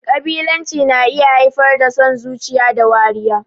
Ƙabilanci na iya haifar da son zuciya da wariya.